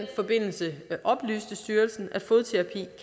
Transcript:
forbindelse oplyste styrelsen at fodterapi